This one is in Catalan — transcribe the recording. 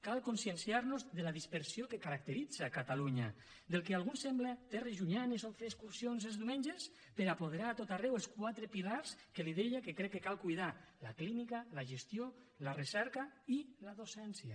cal conscienciar nos de la dispersió que caracteritza catalunya del que a alguns sembla terres llunyanes on fer excursions els diumenges per apoderar a tot arreu els quatre pilars que li deia que crec que cal cuidar la clínica la gestió la recerca i la docència